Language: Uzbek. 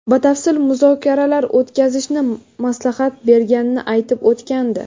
batafsil muzokaralar o‘tkazishni maslahat berganini aytib o‘tgandi.